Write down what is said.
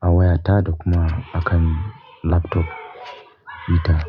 a wayata da kuma a kan laptop ita.